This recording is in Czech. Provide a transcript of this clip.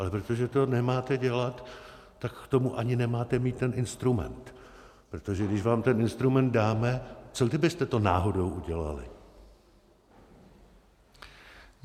Ale protože to nemáte dělat, tak k tomu ani nemáte mít ten instrument, protože když vám ten instrument dáme, co kdybyste to náhodou udělali?